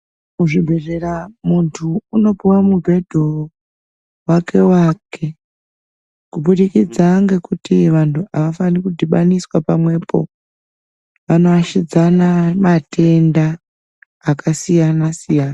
Kuzvibhedhleya muntu unopuwa mubhedhu wake wake kubudikidza ngekuti vantu avafani kudhibaniswa pamwepo vanoashidzana matenda akasiyana siyana.